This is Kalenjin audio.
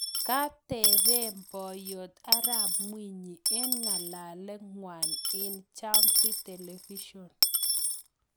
Katepee Boiyot Arap mwinyi eng ng'alalet ngwang eng Jamvi Television